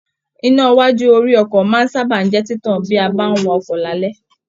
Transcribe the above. Iná iwájú orí ọkọ máa n sábà jẹ títàn bi a bá n wa ọkọ lalẹ.